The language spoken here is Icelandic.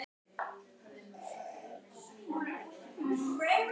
líklega er þó gagnlegra að skoða slíkar skilgreiningar á formlegri hátt